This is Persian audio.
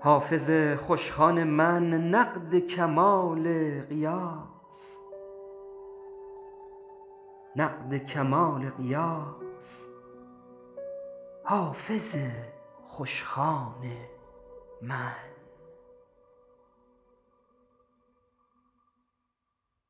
حافظ خوشخوان من نقد کمال غیاث نقد کمال غیاث حافظ خوشخوان من